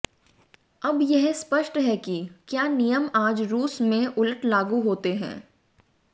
अब यह स्पष्ट है कि क्या नियम आज रूस में उलट लागू होते हैं